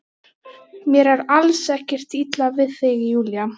Mér er alls ekkert illa við þig Júlía.